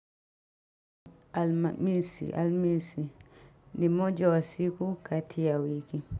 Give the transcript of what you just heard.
Alhamisi ni moja wa siku kati ya wiki.